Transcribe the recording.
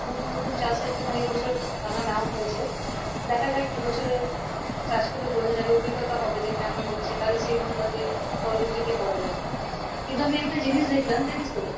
নতুন নতুন চাষের জন্য এবজর দানা নেওয়া হয়েছে দেখা যাক এবছরে চাষ গুলো বোঝ যাবে অভিজ্ঞতা হবে যে কেমন হচ্ছে তালে সেই অনুপাতে পরবর্তী তে করা যাবে কিন্তু আমি একটা জিনিস দেখালাম জানিস তো